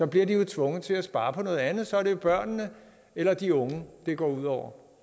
bliver de tvunget til at spare på noget andet og så er det jo børnene eller de unge det går ud over